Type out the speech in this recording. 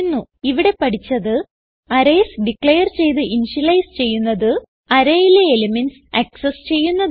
ഇവിടെ പഠിച്ചത് arrays declare ചെയ്ത് ഇന്ത്യലൈസ് ചെയ്യുന്നത് arrayയിലെ എലിമെന്റ്സ് ആക്സസ് ചെയ്യുന്നത്